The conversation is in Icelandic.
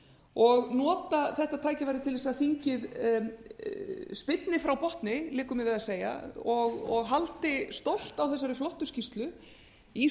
og nota þetta tækifæri til þess að þingið spyrna frá botni liggur mér við að segja og haldi stolt á þessari flottu skýrslu í